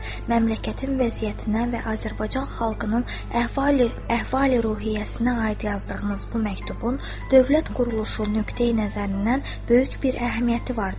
Məmləkətin vəziyyətinə və Azərbaycan xalqının əhval-ruhiyyəsinə aid yazdığınız bu məktubun dövlət quruluşu nöqteyi-nəzərindən böyük bir əhəmiyyəti vardır.